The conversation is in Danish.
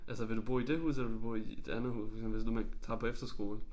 Altså vil du bo i det hus eller vil du bo i et andet hus for eksempel hvis nu man tager på efterskole